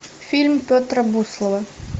фильм петра буслова